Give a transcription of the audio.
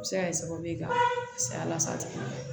A bɛ se ka kɛ sababu ye ka saya lasago